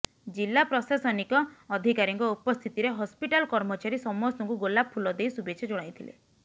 ଜିଲା ପ୍ରଶାସନିକ ଅଧିକାରୀଙ୍କ ଉପସ୍ଥିତିରେ ହସ୍ପିଟାଲ କର୍ମଚାରୀ ସମସ୍ତଙ୍କୁ ଗୋଲାପ ଫୁଲ ଦେଇ ଶୁଭେଚ୍ଛା ଜଣାଇଥିଲେ